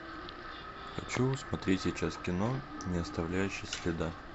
хочу смотреть сейчас кино не оставляющий следа